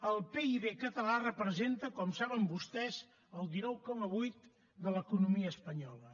el pib català representa com saben vostès el dinou coma vuit de l’economia espanyola